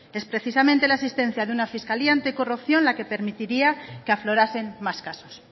es precisamente la existencia de una fiscalía anticorrupción la que permitiría que aflorasen más casos